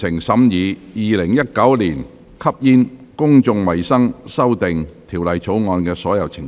全體委員會已完成審議《2019年吸煙條例草案》的所有程序。